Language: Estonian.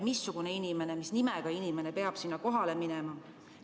Millal ja mis nimega inimene peab sinna kohale minema?